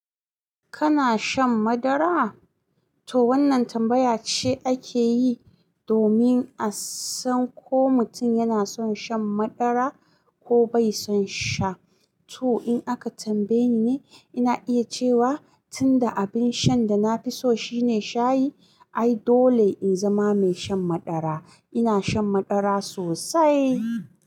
Kana shan madara? To wannan tambaya ce ake yi domin a san ko mutum yana son shan madara ko bai son sha. To in aka tambaye ni, ina iya cewa tunda abin shan da na fi so shine shayi, ai dole in zama mai shan madara. Ina shan madara sosai.